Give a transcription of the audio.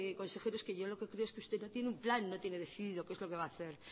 consejero es que yo lo que quiero es que usted no tiene un plan no tiene decidido qué es lo que va a hacer